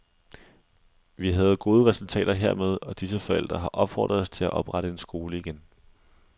Vi havde gode resultater hermed, og disse forældre har opfordret os til at oprette en skole igen.